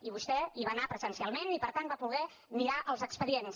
i vostè hi va anar presencialment i per tant va poder mirar els expedients